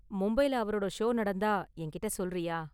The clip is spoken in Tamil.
மும்பைல அவரோட ஷோ நடந்தா என்கிட்ட சொல்றியா?